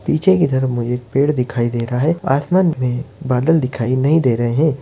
पीछे की तरफ मुझे एक पेड़ दिखाई दे रहा है आसमान में बादल दिखाई नहीं दे रहे है।